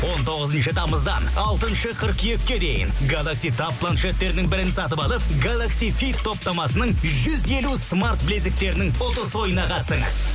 он тоғызыншы тамыздан алтыншы қыркүйекке дейін галакси таб планшеттерінің бірін сатып алып галакси фит топтамасының жүз елу смарт білезіктерінің ұтыс ойынына қатысыңыз